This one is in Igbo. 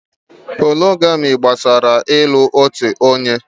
Mónógamị́ gbasara ị́lu otu onye.